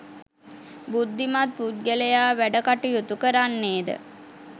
බුද්ධිමත් පුද්ගලයා වැඩ කටයුතු කරන්නේද,